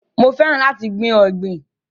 Mo fẹ́ràn láti gbìn ọ̀gbìn.